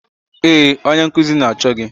Ee, onye nkuzi na-achọ gị